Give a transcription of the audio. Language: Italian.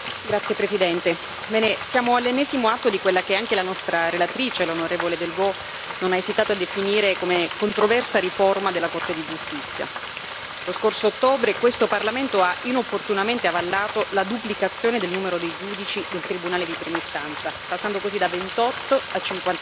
Signor Presidente, onorevoli colleghi, siamo all'ennesimo atto di quella che anche la nostra relatrice, l'onorevole Delvaux, non ha esitato a definire come controversa riforma della Corte di giustizia. Lo scorso ottobre questo Parlamento ha inopportunamente avallato la duplicazione del numero dei giudici del Tribunale di prima istanza, passando così da 28 a